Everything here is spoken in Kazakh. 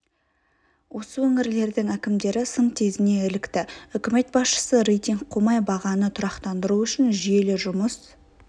осы өңірлердің әкімдері сын тезіне ілікті үкімет басшысы рейтинг қумай бағаны тұрақтандыру үшін жүйелі жұмыс